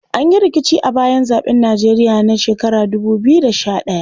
An yi rikici a bayan zaɓen Nijeriya na 2011.